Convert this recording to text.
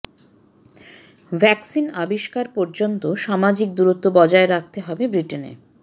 vaccine আবিষ্কার পর্যন্ত সামাজিক দূরত্ব বজায় রাখতে হবে ব্রিটেনে